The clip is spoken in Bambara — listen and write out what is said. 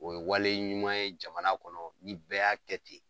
O ye wale ɲuman ye jamana kɔnɔ ni bɛɛ y'a kɛ ten.